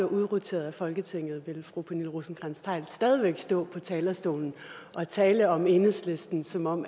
udroteret af folketinget vil fru pernille rosenkrantz theil stadig væk stå på talerstolen og tale om enhedslisten som om